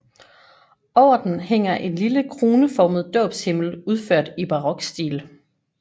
Over den hænger en lille kroneformet dåbshimmel udført i barokstil